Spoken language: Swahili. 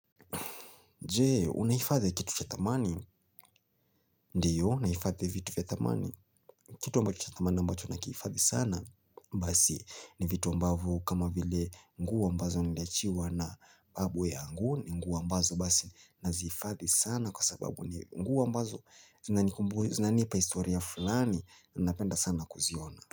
Jee, unaifadhi kitu cha thamani, ndiyo naifadhi vitu vya thamani Kitu cha thamani ambacho nakihifadhi sana Basi, ni vitu ambavo kama vile nguo ambazo niliachiwa na babu yaangu ni nguo ambazo basi nazihifadhi sana kwa sababu ni nguo ambazo zinanipa historia fulani, napenda sana kuziona.